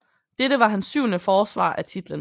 Dette var hans syvende forsvar af titlen